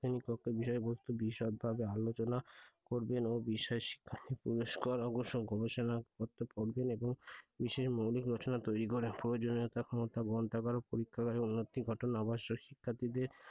শ্রেণিকক্ষের বিষয়বস্তু বিশদভাবে আলোচনা করবেন ও বিষয়ে শিক্ষার্থী পর্যায়ে পুরস্কার ও গবেষনা পত্র করবেন এবং বিশেষ মৌলিক রচনা তৈরি করে প্রয়োজনীয়তা গ্রন্থাগার পরীক্ষাগারের উন্নতি গঠন আবশ্যক শিক্ষার্থীদের,